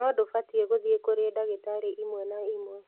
No ndũbatiĩ gũthiĩ kũrĩ ndagĩtarĩ ĩmwe kwa ĩmwe